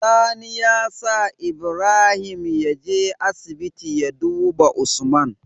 Sani ya sa Ibrahim yaje asibiti ya duba usman